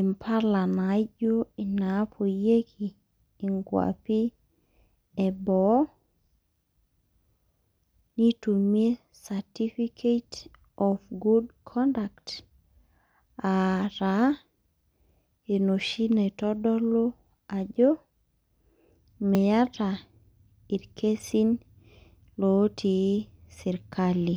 impala naijo inaapoyieki inkwapi eboo, nitumie certificate of good conduct, ataa, enoshi naitodolu ajo, miata irkesin lotii serkali.